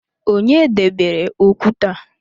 Onye debere okwute a?